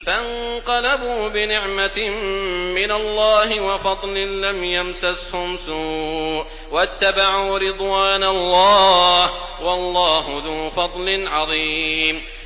فَانقَلَبُوا بِنِعْمَةٍ مِّنَ اللَّهِ وَفَضْلٍ لَّمْ يَمْسَسْهُمْ سُوءٌ وَاتَّبَعُوا رِضْوَانَ اللَّهِ ۗ وَاللَّهُ ذُو فَضْلٍ عَظِيمٍ